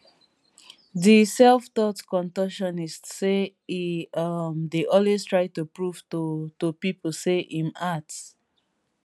di selftaught contortionist say e um dey always try to prove to to pipo say im art